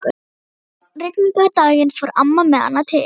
Einn rigningardaginn fór amma með hana til